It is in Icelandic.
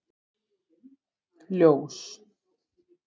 Ljós